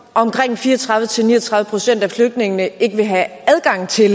omkring fire og tredive til ni og tredive procent af flygtningene ikke vil have adgang til